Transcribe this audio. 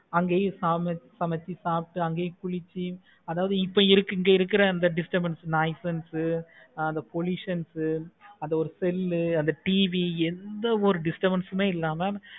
ஆகவே farm எடுத்து சமைச்சி சாப்பிட்டு குளிச்சி அதாவது இப்ப இங்க இருக்குற disturbance, noisance அந்த பொல்லுஷன்ஸ் உ அந்த ஒரு smell உ அந்த இரு TV ஒரு disturbance மே இல்லாம